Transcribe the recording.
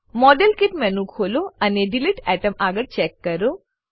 model kit menu ખોલો અને delete atom આગળ ચેક કરો